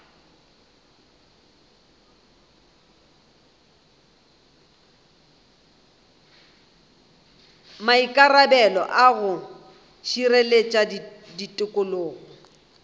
maikarabelo a go šireletša tikologo